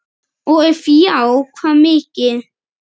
og ef já hvað mikið?